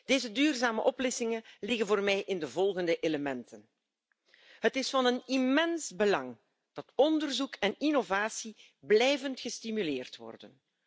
Deze duurzame oplossingen liggen voor mij in de volgende elementen. Het is van een immens belang dat onderzoek en innovatie blijvend gestimuleerd worden.